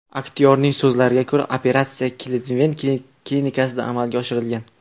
Aktyorning so‘zlariga ko‘ra, operatsiya Klivlend klinikasida amalga oshirilgan.